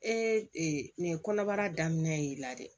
Ee nin kɔnɔbara daminɛn'i la dɛ